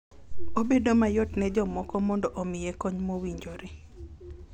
Obedo mayot ne jomoko mondo omiye kony mowinjore.